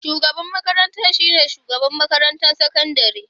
Shugaban makarantar shi ne Shugaban makarantar sakandare.